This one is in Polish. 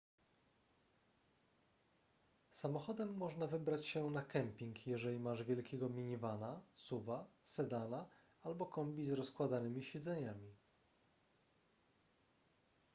samochodem można wybrać się na kemping jeżeli masz wielkiego minivana suv-a sedana albo kombi z rozkładanymi siedzeniami